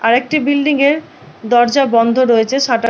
আর একটি বিল্ডিঙ -এর দরজা বন্ধ রয়েছে সাটার --